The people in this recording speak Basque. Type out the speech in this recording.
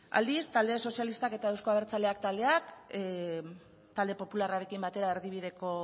aldiz talde sozialistak eta eusko abertzaleak taldeak talde popularrarekin batera erdibideko